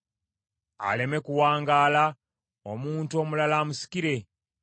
Aleme kuwangaala; omuntu omulala amusikire.